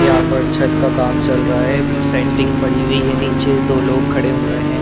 यहाँ पर छत का काम चल रहा हैं सेंटिंग पड़ी हुई हैं नीचे दो लोग खड़े हुए हैं ।